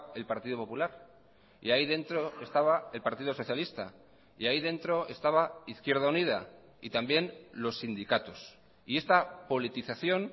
el partido popular y ahí dentro estaba el partido socialista y ahí dentro estaba izquierda unida y también los sindicatos y esta politización